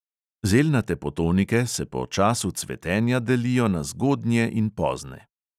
Zelnate potonike se po času cvetenja delijo na zgodnje in pozne.